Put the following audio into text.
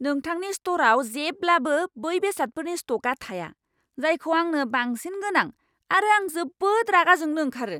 नोंथांनि स्ट'रआव जेब्लाबो बै बेसादफोरनि स्ट'क थाया, जायखौ आंनो बांसिन गोनां आरो आं जोबोद रागा जोंनो ओंखारो!